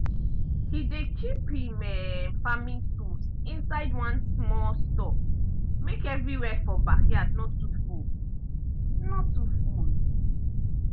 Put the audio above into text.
he dey keep him um farming tools inside one small store make everywhere for backyard no too full. no too full.